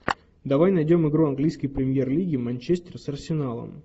давай найдем игру английской премьер лиги манчестер с арсеналом